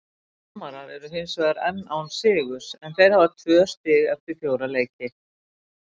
Framarar eru hinsvegar enn án sigurs en þeir hafa tvö stig eftir fjóra leiki.